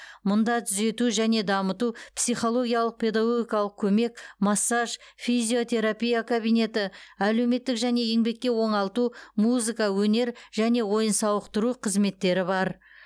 мұнда түзету және дамыту психологиялық педагогикалық көмек массаж физиотерапия кабинеті әлеуметтік және еңбекке оңалту музыка өнер және ойын сауықтыру қызметтері бар